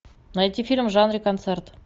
найти фильм в жанре концерт